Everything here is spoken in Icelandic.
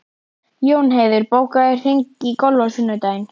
Jónheiður, bókaðu hring í golf á sunnudaginn.